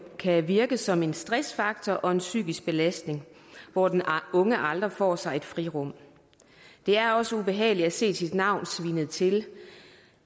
kan virke som en stressfaktor og en psykisk belastning hvor den unge aldrig får sig et frirum det er også ubehageligt at se sit navn svinet til